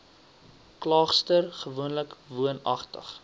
klaagster gewoonlik woonagtig